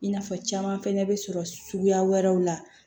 I n'a fɔ caman fɛnɛ bɛ sɔrɔ suguya wɛrɛw la